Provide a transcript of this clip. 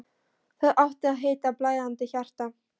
Það átti að heita: Blæðandi hjarta.